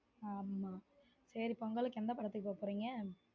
ஆமா சேரி பொங்கலுக்கு எந்த படத்துக்கு போக போறீங்க?